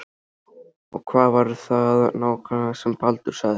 Og hvað var það nákvæmlega sem Baldur sagði?